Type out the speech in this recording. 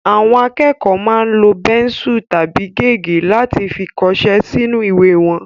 Àwọn akẹ́kọ̀ọ́ máa ń lo bẹ́nsù tàbí gègé láti fi kọṣẹ́ sínú ìwé wọn